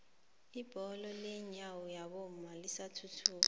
ibholo lenyawo labomma lisathuthuka